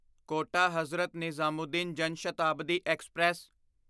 quota Hazrat Nizamuddin Jan Shatabdi express